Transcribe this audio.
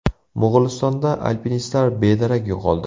Mo‘g‘ulistonda alpinistlar bedarak yo‘qoldi.